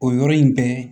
O yɔrɔ in bɛɛ